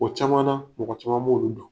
O caman na, mɔgɔ caman b'olu dɔn.